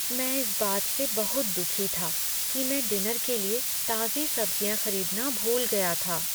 मैं इस बात से बहुत दुखी था कि मैं डिनर के लिए ताजी सब्जियां खरीदना भूल गया था।